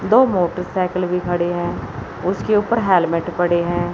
दो मोटरसाइकिल भी खड़े हैं उसके ऊपर हेलमेट पड़े हैं।